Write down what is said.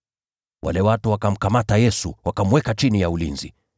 Wale watu wakamkamata Yesu, wakamweka chini ya ulinzi.